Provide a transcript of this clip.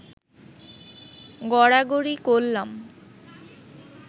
গড়াগড়ি করলাম